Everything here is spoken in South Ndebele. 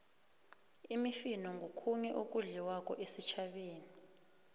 imifino ngokhunye okudliwako esitjhabeni